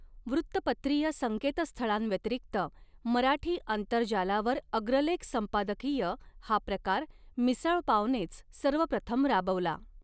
वृत्तपत्रीय संकेतस्थ़ळांव्यतिरिक्त मराठी आंतरजालावर अग्रलेख संपादकीय हा प्रकार मिसळपावनेच सर्वप्रथम राबवला.